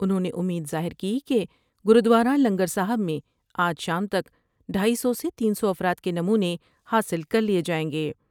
انہوں نے امید ظاہر کی کہ گردوارہ لنگر صاحب میں آج شام تک ڈھائی سو سے تین سوافراد کے نمونے حاصل کر لئے جائیں گے۔